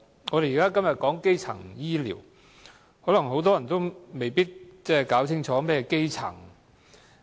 我們今天討論基層醫療，但很多人未必清楚何謂基層醫療。